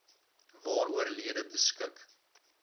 waaroor lede beskik